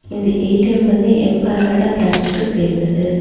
இந்த ஏ_டி_எம் வந்து எம் பாலாடா பிரான்சுக்கு சேந்தது.